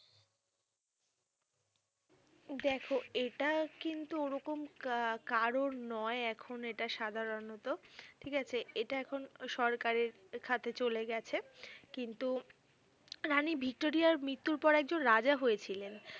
দেখো এটা কিন্তু ওরকম কা কারোর নয় এখন এটা সাধারণত ঠিক আছে। এটা এখন সরকারের খাতে চলে গেছে। কিন্তু রানী ভিক্টোরিয়ার মৃত্যর পর একজন রাজা হয়েছিলেন